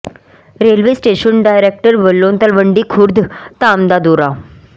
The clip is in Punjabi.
ਰੇਲਵੇ ਸਟੇਸ਼ਨ ਡਾਇਰੈਕਟਰ ਵੱਲੋਂ ਤਲਵੰਡੀ ਖੁਰਦ ਧਾਮ ਦਾ ਦੌਰਾ